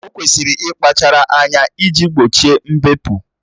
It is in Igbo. O kwesịrị ịkpachara anya iji gbochie mbepụ